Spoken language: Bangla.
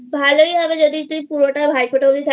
ভালোই হবে যদি তুই পুরোটা ভাই ফোঁটা